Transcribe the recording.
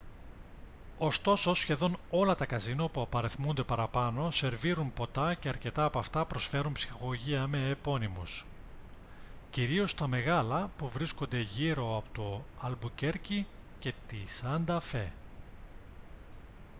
ωστόσο σχεδόν όλα τα καζίνο που απαριθμούνται παραπάνω σερβίρουν ποτά και αρκετά από αυτά προσφέρουν ψυχαγωγία με επωνύμους κυρίως τα μεγάλα που βρίσκονται γύρω από το αλμπουκέρκι και τη σάντα φε